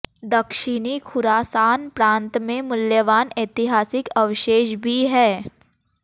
दक्षिणी ख़ुरासान प्रांत में मूल्यवान ऐतिहासिक अवशेष भी हैं